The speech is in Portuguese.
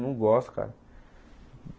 Eu não gosto, cara.